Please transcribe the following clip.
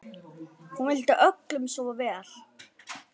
Hún vildi öllum svo vel.